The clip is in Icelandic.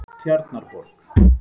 Tjarnarborg